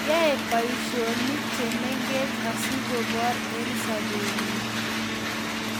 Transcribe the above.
yae boisionik chemengech asigoboor eng sobenyi